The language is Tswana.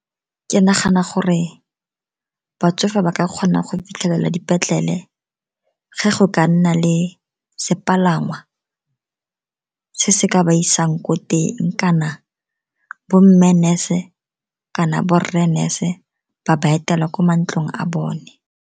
Ke nagana gore batsofe ba ka kgona go fitlhelela dipetlele ge go ka nna le sepalangwa se se ka ba isang ko teng, kana bo mme nurse-e kana borre nurse ba ba etela kwa mantlong a bone.